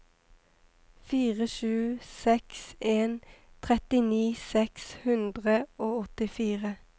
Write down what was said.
fire sju seks en trettini seks hundre og åttifire